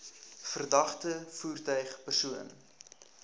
verdagte voertuig persoon